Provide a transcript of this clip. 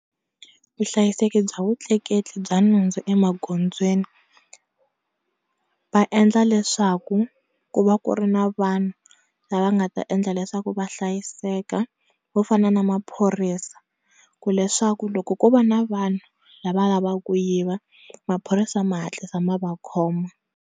Vuhlayiseki bya vutleketli bya nhundzu emagondzweni, va endla leswaku ku va ku ri na vanhu lava nga ta endla leswaku va hlayiseka vo fana na maphorisa ku leswaku loko ko va na vanhu la va lavaka ku yiva maphorisa ma hatlisa ma va khoma.